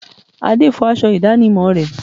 Ade fọ aṣọ ìdánimọ̀ rẹ̀